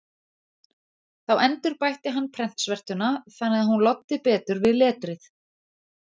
Þá endurbætti hann prentsvertuna þannig að hún loddi betur við letrið.